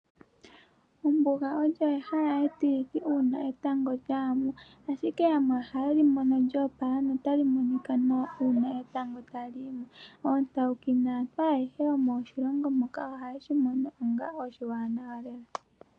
Ombuga olyo ehala etililithi uuna etango lya ya mo, ashike yamwe ohaye li mono lyo opala notali monika nawa uuna etango tali yi mo. Oontawuki naantu ayehe yomoshilongo muka ohaye shi mono onga oshiwanawa lela.